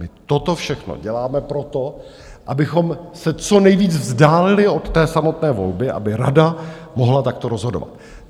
My toto všechno děláme proto, abychom se co nejvíce vzdálili od té samotné volby, aby rada mohla takto rozhodovat.